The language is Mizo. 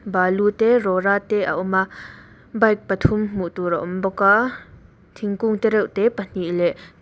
balu te rawra te a awm a bike pathum hmuh tur a awm bawk a thingkung te reuh te pahnih leh-- ba